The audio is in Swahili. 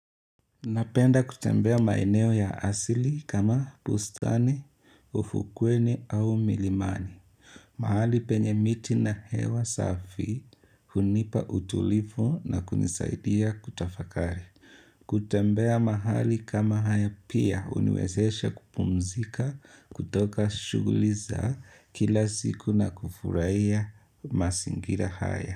Napenda kutembea maeneo ya asili kama pustani, ufukweni au milimani. Mahali penye miti na hewa safi hunipa utulifu na kunisaidia kutafakari. Kutembea mahali kama haya pia uniwezesha kupumzika kutoka shuguli za kila siku na kufuraiya masingira haya.